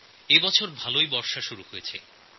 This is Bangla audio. এই বছর বর্ষার শুরুটা ভালোই হয়েছে